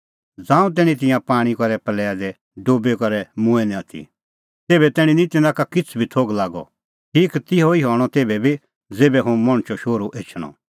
ज़ांऊं तैणीं तिंयां पाणीं करै प्रल़या दी डुबी करै मूंऐं निं आथी तेभै तैणीं निं तिन्नां का किछ़ बी थोघ लागअ ठीक तिहअ ई हणअ तेभै बी ज़ेभै हुंह मणछो शोहरू एछणअ